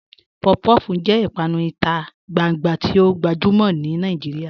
Puff-puff jẹ̀ ìpànù ìtà gbàngbà tì o gbajumọ̀ ni Nàìjíríà